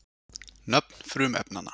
Nöfn frumefnanna.